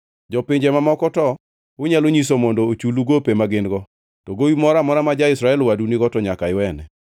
Jopinje mamoko to unyalo nyiso mondo ochulu gope ma gin-go, to gowi moro amora ma ja-Israel wadu nigo to nyaka iwene.